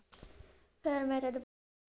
ਫਿਰ ਮੇਰੇ ਤੇ,